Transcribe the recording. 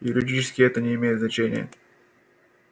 юридически это не имеет значения